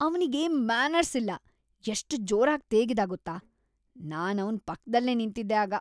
ಅವ್ನಿಗೆ ಮ್ಯಾನರ್ಸ್‌ ಇಲ್ಲ. ಎಷ್ಟ್‌ ಜೋರಾಗ್ ತೇಗಿದ ಗೊತ್ತಾ, ನಾನವ್ನ್‌ ಪಕ್ದಲ್ಲೇ ನಿಂತಿದ್ದೆ ಆಗ.